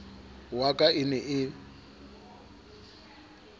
wa ka e ne e